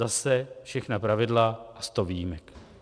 Zase všechna pravidla a sto výjimek.